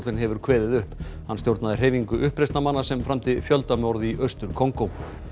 hefur kveðið upp hann stjórnaði hreyfingu uppreisnarmanna sem framdi fjöldamorð í Austur Kongó